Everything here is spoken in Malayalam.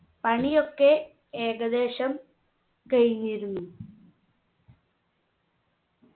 പണിയൊക്കെ ഏകദേശം കഴിഞ്ഞിരുന്നു